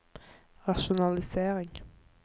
rasjonalisering